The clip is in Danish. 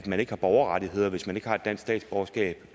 man ikke har borgerrettigheder hvis man ikke har et dansk statsborgerskab